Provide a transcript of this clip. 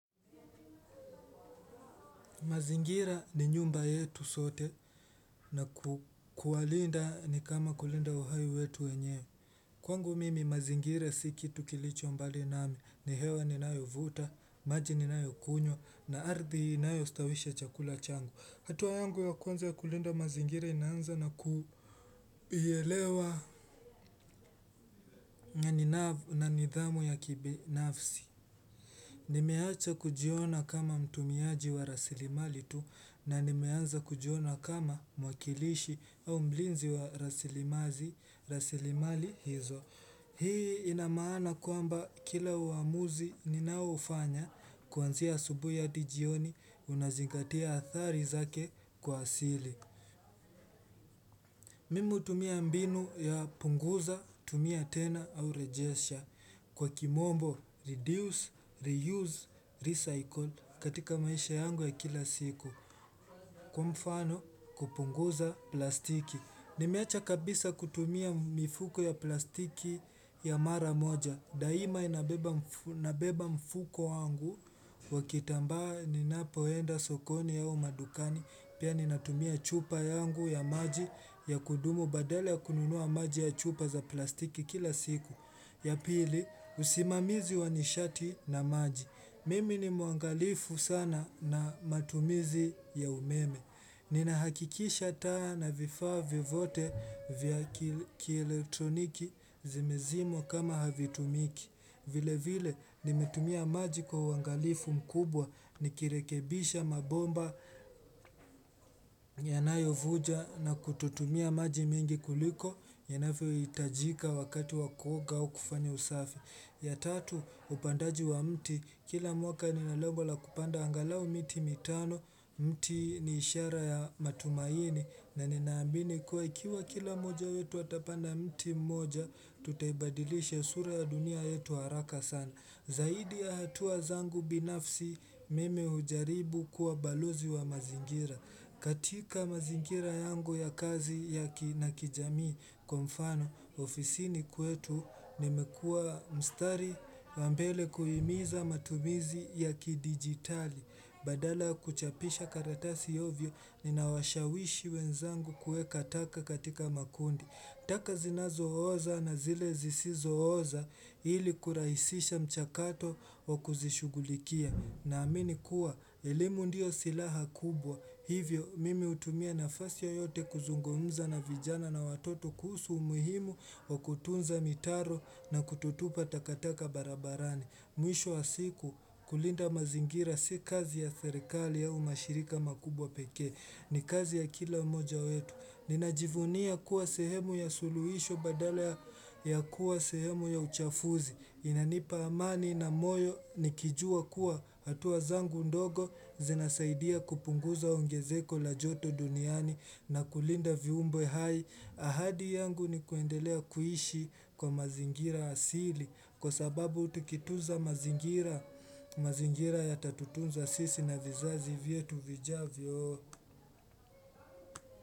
Mazingira ni nyumba yetu sote na ku kualinda ni kama kulinda uhaiwetu wenyewe Kwangu mimi mazingira si kitu kilicho mbali nami ni hewa ni nayo vuta, maji ni nayo kunywa na ardhi inayo stawisha chakula changu. Hatua yangu ya kwanza kulinda mazingira inaanza na kuielewa Ninav na nidhamu ya kibinafsi Nimeacha kujiona kama mtumiaji wa rasilimali tu na nimeanza kujiona kama mwakilishi au mlinzi wa rasilimazi rasilimali hizo. Hii inamaana kwamba kila uamuzi ninao ufanya kuanzia asubuhi hadi jioni unazingatia athari zake kwa asili. Mimi hutumia mbinu ya punguza tumia tena au rejesha kwa kimombo reduce, reuse, recycle katika maisha yangu ya kila siku, kwa mfano kupunguza plastiki. Nimeacha kabisa kutumia mifuko ya plastiki ya mara moja, daima inabeba nabeba mfuko wangu, wa kitambaa ninapoenda sokoni au madukani, pia ninatumia chupa yangu ya maji ya kudumu badala ya kununua maji ya chupa za plastiki kila siku. Ya pili, usimamizi wanishati na maji. Mimi ni muangalifu sana na matumizi ya umeme. Nina hakikisha taa na vifaa vyovote vya kikieletroniki zimezimwa kama havitumiki. Vile vile nimetumia maji kwa uangalifu mkubwa ni kirekebisha mabomba yanayo vuja na kututumia maji mingi kuliko yanavyo hitajika wakati wakuoga au kufanya usafi. Ya tatu upandaji wa mti kila mwaka nina lengwa la kupanda angalau miti mitano mti ni ishara ya matumaini na ninaambini kuwa ikiwa kila moja yetu atapanda mti moja tutaibadilisha sura ya dunia yetu haraka sana. Zaidi ya hatua zangu binafsi mimi hujaribu kuwa balozi wa mazingira. Katika mazingira yangu ya kazi yaki na kijamii kwa mfano, ofisini kwetu nimekua mstari wa mbele kuhimiza matumizi ya kidigitali. Badala ya kuchapisha karatasi ovyo nina washawishi wenzangu kuweka taka katika makundi. Taka zinazo oza na zile zisizo oza ili kurahisisha mchakato wa kuzishugulikia. Na amini kuwa, elimu ndio silaha kubwa. Hivyo, mimi hutumia nafasi yoyote kuzungumza na vijana na watoto kuhusu umuhimu wa kutunza mitaro na kutotupa takataka barabarani. Mwisho wa siku kulinda mazingira si kazi ya serikali au mashirika makubwa pekee ni kazi ya kila mmoja wetu. Ninajivunia kuwa sehemu ya suluhisho badala ya ya kuwa sehemu ya uchafuzi. Inanipa amani na moyo nikijua kuwa hatua zangu ndogo zinasaidia kupunguza ongezeko la joto duniani na kulinda viumbwe hai. Ahadi yangu ni kuendelea kuishi kwa mazingira asili Kwa sababu tikituza mazingira mazingira yatatu tunza sisi na vizazi vietu vijavyo.